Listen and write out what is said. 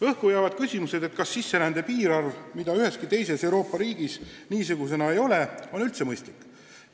Õhku jäävad küsimused, kas sisserände piirarv, mida üheski teises Euroopa riigis niisugusena ei ole, on üldse mõistlik.